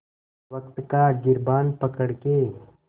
वक़्त का गिरबान पकड़ के